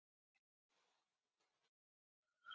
Eyþrúður, kanntu að spila lagið „Bústaðir“?